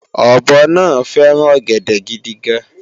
ọ̀bọ náà fẹ́ràn ọ̀gẹ̀dẹ̀ gidigan